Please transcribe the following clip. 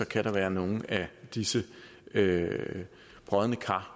kan være nogle af disse brodne kar